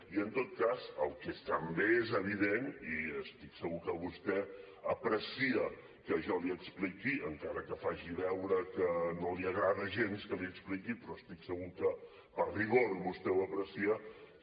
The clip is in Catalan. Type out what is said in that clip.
i en tot cas el que també és evident i estic segur que vostè aprecia que jo l’hi expliqui encara que faci veure que no li agrada gens que l’hi expliqui però estic segur que per rigor vostè ho aprecia